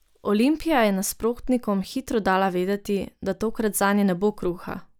Olimpija je nasprotnikom hitro dala vedeti, da tokrat zanje ne bo kruha.